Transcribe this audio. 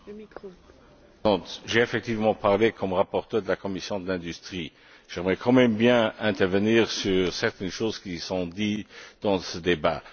Madame la Présidente, j'ai effectivement parlé comme rapporteur de la commission de l'industrie. J'aimerais quand même bien intervenir sur certaines choses qui sont dites dans ce débat.